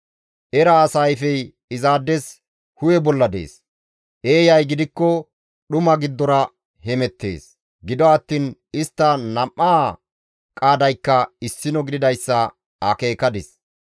Era asa ayfey izaades hu7e bolla dees; eeyay gidikko dhuma giddora hemettees; gido attiin istta nam7aa qaadaykka issino gididayssa akeekadis.